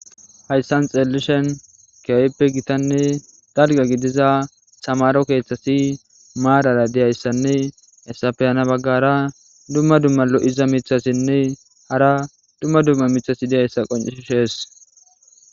Hayssan xeellishen keoweppe gitanne galga gidiza samaro keeththasi maadara diyayssanne esafeyana baggara dumma dumma lo'iza mithassinne hara dumma dumma mithasi diyayssa qoncishees.